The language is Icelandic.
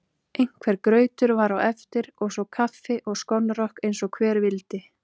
Einhver grautur var á eftir og svo kaffi og skonrok eins og hver vildi.